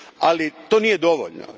Ali, to nije dovoljno.